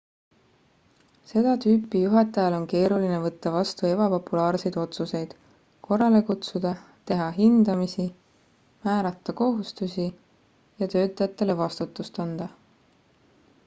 seda tüüpi juhatajal on keeruline võtta vastu ebapopulaarseid otsuseid korrale kutsuda teha hindamisi määrata kohustusi ja töötajatele vastutust anda